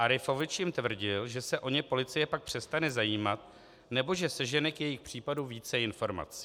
Arifovič jim tvrdil, že se o ně policie pak přestane zajímat nebo že sežene k jejich případu více informací.